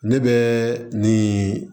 Ne bɛ nin